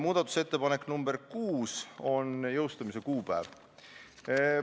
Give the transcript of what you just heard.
Muudatusettepanek nr 6 puudutas jõustumise kuupäeva.